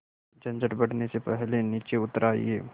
झंझट बढ़ने से पहले नीचे उतर आइए